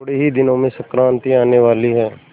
थोड़े ही दिनों में संक्रांति आने वाली है